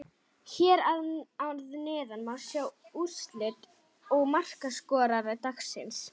Hér að neðan má sjá úrslit og markaskorara dagsins: